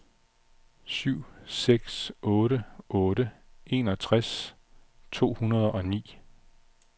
syv seks otte otte enogtres to hundrede og ni